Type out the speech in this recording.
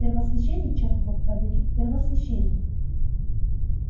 первосвященник черт его побери первосвященник